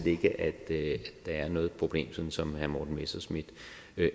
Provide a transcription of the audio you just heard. ikke at der er noget problem sådan som herre morten messerschmidt